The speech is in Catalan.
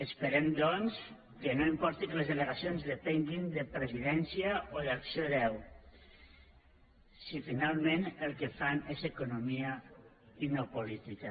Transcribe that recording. esperem doncs que no importi que les delegacions depenguin de presidència o d’acc1ó si finalment el que fan és economia i no política